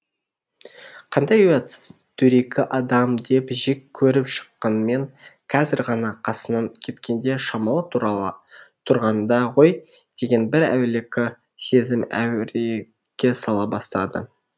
қандай ұятсыз дөрекі адам деп жек көріп шыққанмен қазір ғана қасынан кеткенде шамалы тұра тұрғанда ғой деген бір әулекі сезім әуреге сала бастады